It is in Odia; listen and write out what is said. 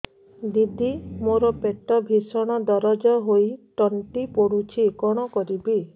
ଦିଦି ମୋର ପେଟ ଭୀଷଣ ଦରଜ ହୋଇ ତଣ୍ଟି ପୋଡୁଛି କଣ କରିବି